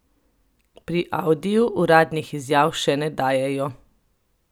Pri Audiju uradnih izjav še ne dajejo.